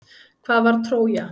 Hvað var Trója?